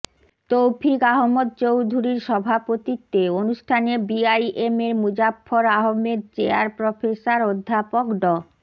তৌফিক আহমদ চৌধূরীর সভাপতিত্বে অনুষ্ঠানে বিআইবিএমের মুজাফফর আহমেদ চেয়ার প্রফেসর অধ্যাপক ড